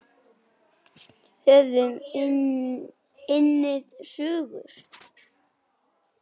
Höfum unnið sigur.